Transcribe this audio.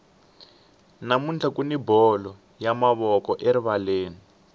namuntlha kuni bolo ya mavoko erivaleni